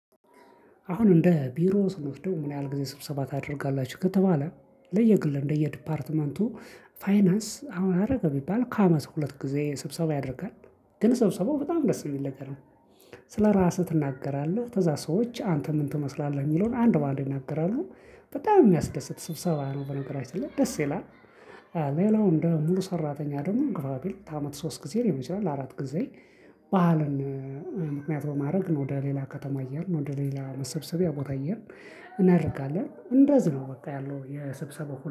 አሁን እንደ ቢሮ ስንወስደው ምን ያህል ጊዜ ስብሰባ ታደርጋላችሁ ከተባለ ለየግል እንደየ ዲፓርትመንቱ ፋይናንስ አሁን አደረገ ቢባል ከአመት ሁለት ጊዜ ስብሰባ ያደርጋል። ግን ሰብሰበው በጣም ደስ የሚል ነገር ነው። ስለራስህ ትናገራለህ ከዛ ሰዎች አንተ ምን ትመስላለህ የሚለውን አንድ በአንድ ይናገራሉ በጣም የሚያስደስት ስብሰባ ነው በነገራችን ላይ ደስ ይላል። ሌላው እንደ ሙሉ ሰራተኛ ደግሞ ግባቢል በአመት ሶስት ጊዜ ሊሆን ይችላል አራት ጊዜ በዓልን ምክንያት በማድረግ ወደ ሌላ ከተማ እየሄድን ወደ ሌላ መሰብሰቢያ ቤታ እየሄድን እናረጋልን። እንደዚህ ነው በቃ ያለው የስብሰባ